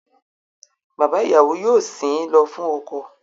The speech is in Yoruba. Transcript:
Bàbá ìyàwó yóò sìn ín lọ fún ọkọ